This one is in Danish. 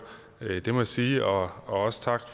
det må jeg sige også tak